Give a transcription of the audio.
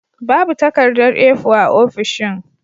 Babu takardar A4 a ofishin.